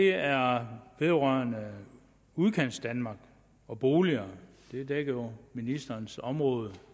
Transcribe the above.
er vedrørende udkantsdanmark og boliger det dækker jo ministerens område